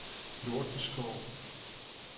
Nordenskov